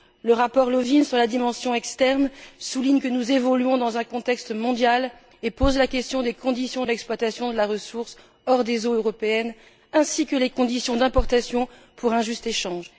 Le rapport Lövin sur la dimension externe souligne que nous évoluons dans un contexte mondial et pose la question des conditions d'exploitation des ressources hors des eaux européennes, ainsi que des conditions d'importation pour un juste échange.